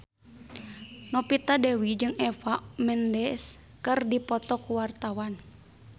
Novita Dewi jeung Eva Mendes keur dipoto ku wartawan